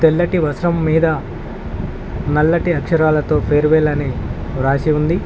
తెల్లటి వర్షం మీద నల్లటి అక్షరాలతో ఫేర్ వెల్ అని రాసి ఉంది.